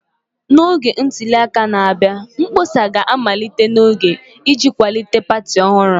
N'oge ntuli aka na-abịa, mkpọsa ga-amalite n'oge iji kwalite pati ọhụrụ